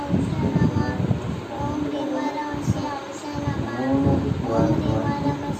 Gwinyiso remene mene tikaningisa nyamashi unowu tinoone kuti vantu vazhinji